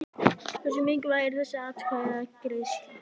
Hversu mikilvæg er þessi atkvæðagreiðsla?